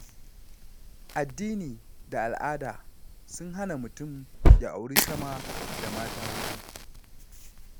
Addini da al'ada sun hana mutum ya auri sama da mata huɗu.